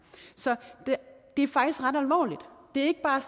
så det er faktisk ret alvorligt det er ikke bare